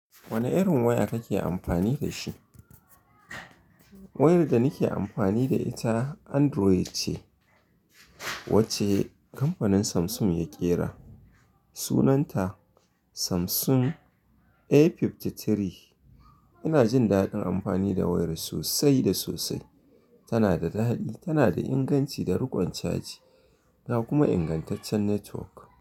Wane irin waya kake amfani da shi? Wayar da nake amfani da ita Android ce wacce kamfanin Samsung ya ƙera. Sunanta Samsung A53. Ina jin daɗin amfani da wayar sosai da sosai. Tana da daɗi, tana da inganci da riƙon caji, ga kuma ingantaccen network.